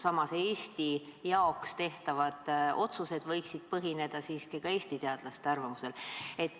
Samas, Eesti jaoks tehtavad otsused võiksid põhineda siiski Eesti teadlaste arvamusel.